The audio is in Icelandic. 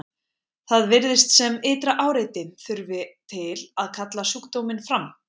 það virðist sem ytra áreiti þurfi til að kalla sjúkdóminn fram